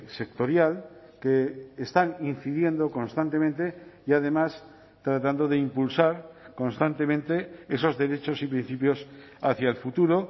sectorial que están incidiendo constantemente y además tratando de impulsar constantemente esos derechos y principios hacia el futuro